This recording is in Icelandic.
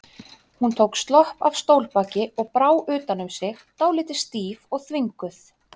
Hún tók slopp af stólbaki og brá utan um sig, dálítið stíf og þvinguð.